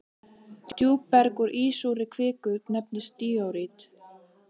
Djúpberg úr ísúrri kviku nefnist díorít.